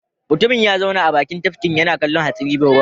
Mutumin ya zauna a bakin tafkin yana kallon hatsabibin ruwan.